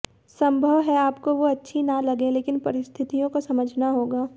संभव है आपको वो अच्छी न लगें लेकिन परिस्थितियों को समझना होगा